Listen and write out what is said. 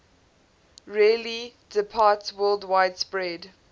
rarely departsworldwide spread